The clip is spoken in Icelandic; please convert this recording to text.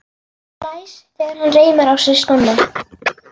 Blæs þegar hann reimar á sig skóna.